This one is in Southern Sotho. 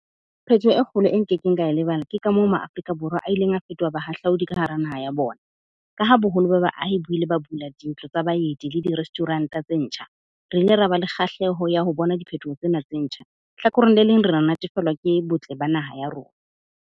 Phetoho e kgolo e nke keng ka lebala. Ke ka moo MaAfrika Borwa a ileng a fetoha bahahlaodi ka hara naha ya bona. Ka ha boholo ba baahi ba ile ba bula dintlo tsa baeti le di-restaurant-a tse ntjha, re ile ra ba le kgahleho ya ho bona diphethoho tsena tse ntjha. Hlakoreng le leng, re natefelwa ke botle ba naha ya rona.